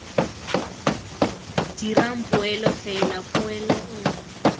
dirang poelo fela poelo nngwe